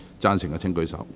贊成的請舉手。